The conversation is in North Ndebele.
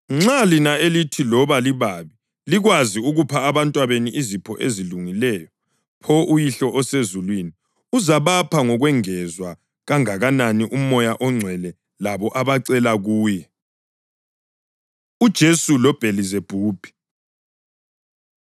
Nxa lina, elithi loba libabi likwazi ukupha abantwabenu izipho ezilungileyo, pho uYihlo osezulwini uzabapha ngokwengezwe kangakanani uMoya oNgcwele labo abacela kuye!” UJesu LoBhelizebhubhi